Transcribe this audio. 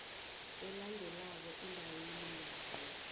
elandelako endaweni yayo